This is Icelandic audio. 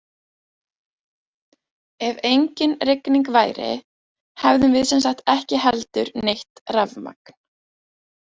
Ef engin rigning væru hefðum við sem sagt ekki heldur neitt rafmagn!